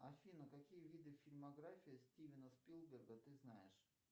афина какие виды фильмографии стивена спилберга ты знаешь